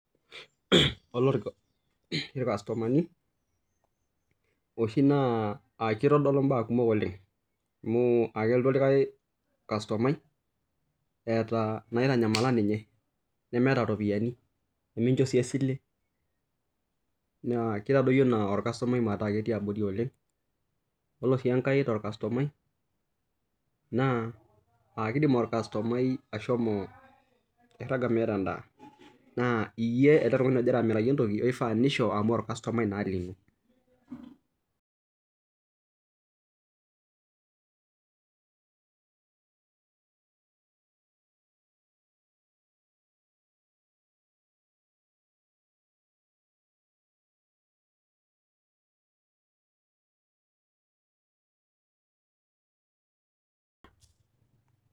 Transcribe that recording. Yiolo irkastomani oshii naa kitodolu mbaa kumok oleng amu kelotu likae kastomani etaa naitanyamala ninye nemeeta eropiani nikinjo sii esile naa keitadoyio ena orkastomai metaa ketii abori ore sii enkae too kastomani naa kidim orkastomai ashomo airaga meeta endaa naa eyie ele tung'ani ogira amiraki entoki oifaa nishoo amu orkastomai naa lino